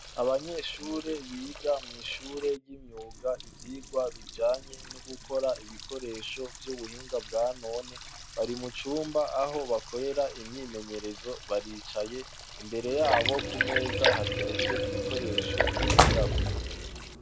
Abanyeshure biga mw'ishure ry'imyuga ivyirwa bijanye no gukora ibikoresho vy'ubuhinga bwa none barimucumba aho bakorera imyimenyerezo baricaye, imbere yabo ku meza hateretse ibikoresho bigirako.